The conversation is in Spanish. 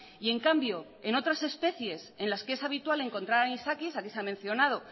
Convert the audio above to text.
y en cambio en otras especies en las que es habitual encontrar anisakis aquí se ha mencionado